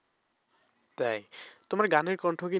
তাই তোমার গানের কন্ঠ কি